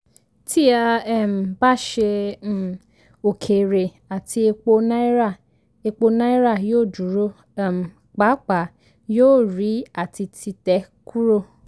tí a um bá ṣe um òkèèrè àti epo náírà epo náírà yóò dúró um pàápàá yóò rí àti títẹ́ kúrò